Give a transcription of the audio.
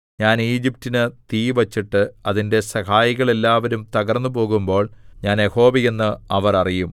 ഞാൻ ഈജിപ്റ്റിനു തീ വച്ചിട്ട് അതിന്റെ സഹായികൾ എല്ലാവരും തകർന്നുപോകുമ്പോൾ ഞാൻ യഹോവയെന്ന് അവർ അറിയും